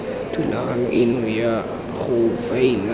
thulaganyo eno ya go faela